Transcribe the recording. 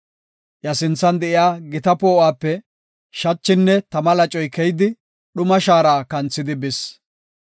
Iya sinthan de7iya gita poo7uwape shachinne tama lacoy keyidi dhuma shaara kanthidi bis.